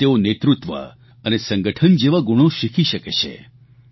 જયાં તેઓ નેતૃત્વ અને સંગઠન જેવા ગુણો શીખી શકે છે